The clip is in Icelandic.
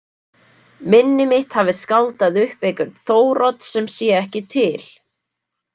Minni mitt hafi skáldað upp einhvern Þórodd sem sé ekki til.